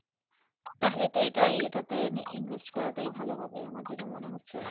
তাহলে এটা এটাতেই Invest করা টা ভালোই হবে আমার যে টা মনে হচ্ছে।